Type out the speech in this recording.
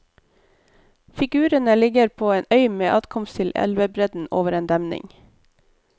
Figurene ligger på en øy med adkomst til elvebredden over en demning.